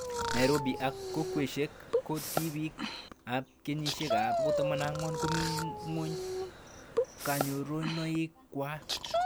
Nairobi ak kokwoshek ko tipik ab kenyishek 7-14 komito ngweny kanyorunoik kwai